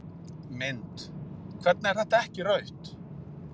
Mynd: Hvernig er þetta ekki rautt?